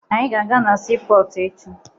Anyị ga-aga na siipọọtụ echi